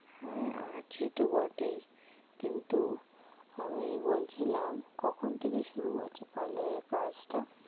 হ্যাঁ আছে তো বটেই কিন্তু আমি বলছিলাম কখন থেকে শুরু হচ্ছে parlour এর কাজটা?